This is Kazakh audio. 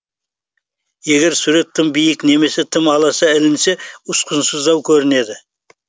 егер сурет тым биік немесе тым аласа ілінсе ұсқынсыздау көрінеді